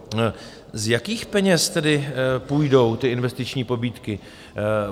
Z jakých peněz tedy půjdou ty investiční pobídky?